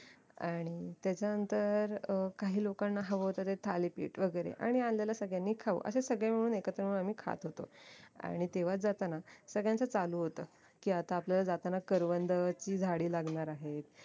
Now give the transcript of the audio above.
आणि त्याच्यानंतर अं काही लोकांना हवं होत ते थालीपीठ वैगेरे आणि आणलेला सगळ्यांनी खाऊ अशे सगळे मिळून एकत्र मिळून आम्ही खात होतो आणि तेव्हा जाताना सगळ्यांचं चालू होत की आता आपल्याला जाताना करवंदाची झाडी लागणार आहेत